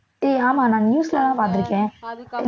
ஏய் ஆமாம் நான் news ல எல்லாம் பார்த்திருக்கேன்